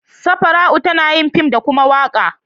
Safara'u tana yin fim da koma waƙa.